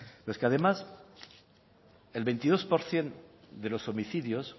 pero es que además el veintidós por ciento de los homicidios